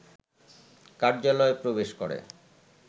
কার্যালয়ে প্রবেশ করে